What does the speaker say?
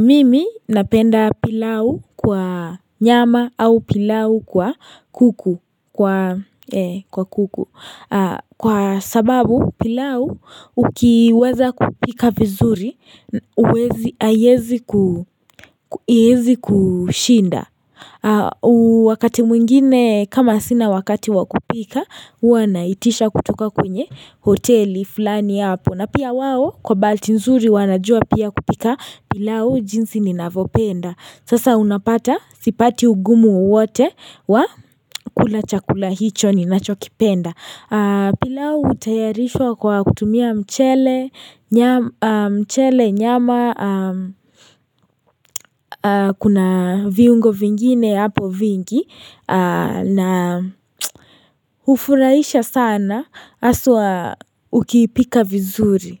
Mimi napenda pilau kwa nyama au pilau kwa kuku, kwa kuku, kwa sababu pilau ukiweza kupika vizuri huwezi, haiwezi kushinda. Wakati mwingine kama sina wakati wakupika, huwa naitisha kutoka kwenye hoteli fulani hapo na pia wao kwa bahati nzuri wanajua pia kupika pilau jinsi ninavyopenda. Sasa unapata sipati ugumu wowote wa kula chakula hicho ninachokipenda pilau hutayarishwa kwa kutumia mchele, nyama Kuna viungo vingine hapo vingi na hufurahisha sana haswa ukiipika vizuri.